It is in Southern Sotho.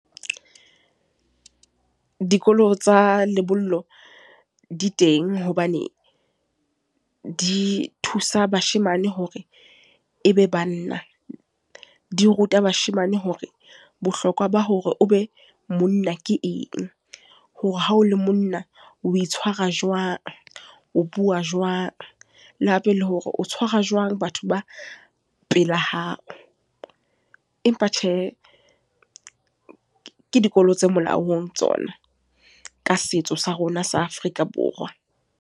Dikolo tsa lebollo di teng hobane, di thusa bashemane hore e be banna. Di ruta bashemane hore, bohlokwa ba hore o be monna ke eng. Hore ha o le monna, o itshwara jwang, o bua jwang. Le hape le hore o tshwara jwang batho ba pela hao. Empa tjhe, ke dikolo tse molaong tsona, ka setso sa rona sa Afrika Borwa.